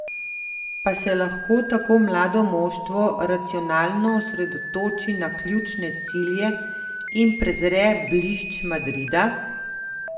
Pa se lahko tako mlado moštvo racionalno osredotoči na ključne cilje in prezre blišč Madrida?